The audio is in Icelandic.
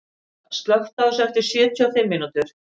Monika, slökktu á þessu eftir sjötíu og fimm mínútur.